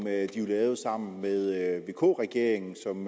lavede sammen med vk regeringen som